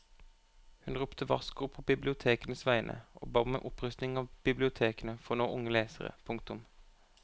Hun ropte varsko på bibliotekenes vegne og ba om en opprustning av bibliotekene for å nå unge lesere. punktum